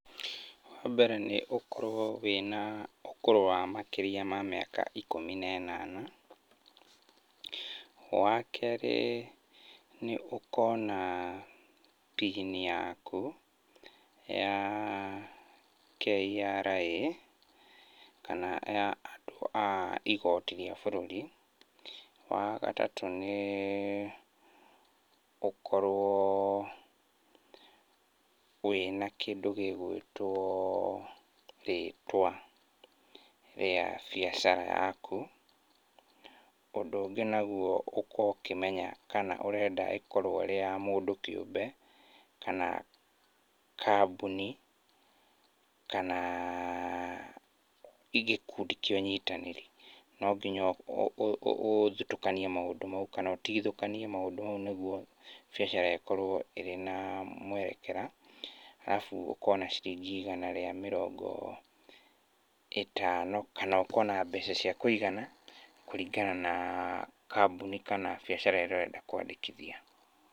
Wa mbere nĩ ũkorwo wĩna, ũkũrũ wa makĩria ma mĩaka ikũmi na ĩnana. Wa keerĩ, nĩ ũkorwo na, pini yaku, ya KRA, kana ya andũ a igooti rĩa bũrũri. Wa gatatũ nĩ, ũkorwo, wĩna kĩndũ gĩgũĩtwo, rĩtwa, rĩa biacara yaku. Ũndũ ũngĩ naguo ũkorwo ũkĩmenya kana ũrenda ĩkorwo ĩĩ ya mũndũ kĩũmbe, kana kambuni, kana, gĩkundi kĩa ũnyitanĩri. No nginya ũtukanie maũndũ mau, kana ũtigithũkanie maũndũ mau nĩguo, biacara ĩkorwo ĩrĩ na, mwerekera. Arabu ũkorwo na ciringi igana rĩa mĩrongo, ĩtano. Kana ũkorwo na mbeca cia kũigana, kũringana na, kambuni, kana biacara ĩrĩa ũrenda kwandĩkithia.